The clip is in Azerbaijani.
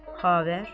Xəbər.